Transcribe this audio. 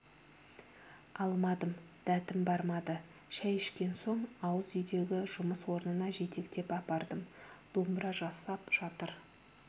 алмадым дәтім бармады шай ішкен соң ауыз үйдегі жұмыс орнына жетектеп апардым домбыра жасап жатыр